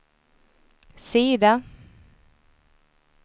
sida